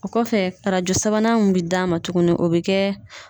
O kɔfɛ arajo sabanan mun bi d'a ma tuguni o bi kɛ